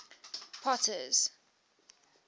potter's